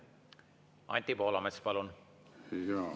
Anti Poolamets, palun!